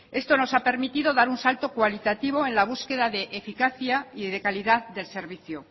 esto nos ha permitido dar un salto cualitativo en la búsqueda de eficacia y de calidad del servicio